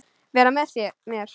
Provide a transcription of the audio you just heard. Vera með mér?